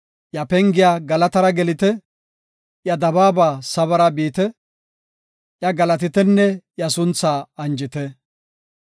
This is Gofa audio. Iya pengiya galatara gelite, iya dabaaba sabara biite; iya galatitenne iya sunthaa anjite.